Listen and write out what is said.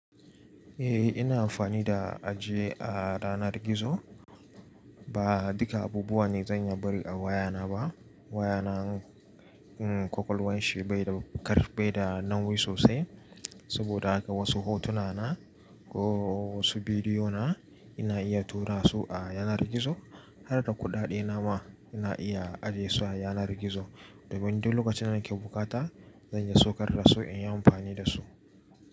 Eh ina amfani da ajiye a yanar gizo. Ba duka abubuwa ne zan iya bari a wayana ba. Wayana, um, kwakwalwan shi bai da karfi, bai da nauyi sosai. Saboda haka wasu hotuna na ko wasu bidiyo na ina iya tura su a yanar gizo. Har da kuɗaɗe na ma ina iya ajiye su a yanar gizo. Domin duk lokacin da nake bukata, zan iya saukar da su in yi amfani da su.